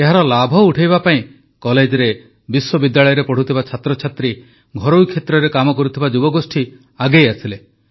ଏହାର ଲାଭ ଉଠାଇବା ପାଇଁ କଲେଜରେ ବିଶ୍ୱବିଦ୍ୟାଳୟରେ ପଢ଼ୁଥିବା ଛାତ୍ରଛାତ୍ରୀ ଘରୋଇ କ୍ଷେତ୍ରରେ କାମ କରୁଥିବା ଯୁବଗୋଷ୍ଠୀ ଆଗେଇ ଆସିଲେ